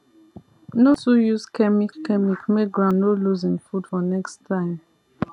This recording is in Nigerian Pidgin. no too use chemic chemic make ground no lose him food for next time